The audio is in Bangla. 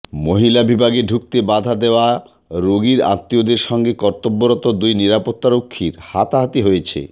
মহিলা বিভাগে ঢুকতে বাধা দেওয়া রোগীর আত্মীয়দের সঙ্গে কর্তব্যরত দুই নিরাপত্তারক্ষীর হাতাহাতি হয়েছে